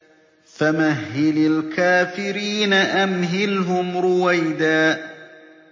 فَمَهِّلِ الْكَافِرِينَ أَمْهِلْهُمْ رُوَيْدًا